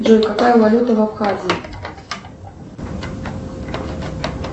джой какая валюта в абхазии